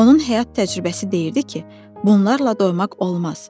Onun həyat təcrübəsi deyirdi ki, bunlarla doymaq olmaz.